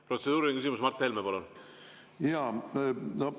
Protseduuriline küsimus, Mart Helme, palun!